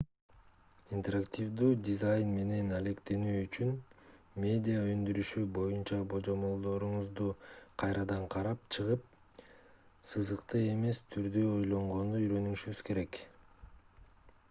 интерактивдүү дизайн менен алектенүү үчүн медиа өндүрүшү боюнча божомолдоруңузду кайрадан карап чыгып сызыктуу эмес түрдө ойлонгонду үйрөнүшүңүз керек